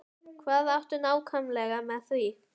Hvað áttu nákvæmlega við með því?